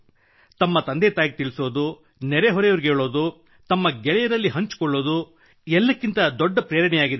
ತಮ್ಮ ತಂದೆ ತಾಯಿಗೆ ತಿಳಿಸುವುದು ನೆರೆ ಹೊರೆಯವರಿಗೆ ಹೇಳುವುದು ತಮ್ಮ ಗೆಳೆಯರಲ್ಲಿ ಹಂಚಿಕೊಳ್ಳುವುದು ಎಲ್ಲಕ್ಕಿಂತ ದೊಡ್ಡ ಪ್ರೇರಣೆಯಾಗಿದೆ